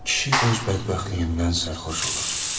Kişi öz bədbəxtliyindən sərxoş olur.